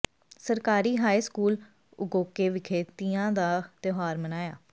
ਸਰਕਾਰੀ high school Ugoke ਵਿਖੇ ਤੀਆਂ ਦਾ ਤਿਉਹਾਰ ਮਨਾਇਆ